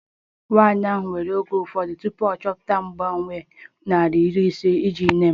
Nwanyị ahụ were oge ụfọdụ tupu ya achọta mgbanwe naira iri ise iji nye m